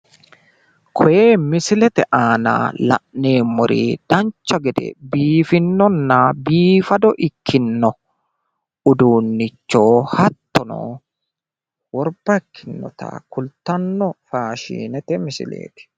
Koye misilete aana la'neemmori dancha gede biiffinonna biifado ikkino uduunnicho hattono worba ikkinota kultanno faashinete misileeti.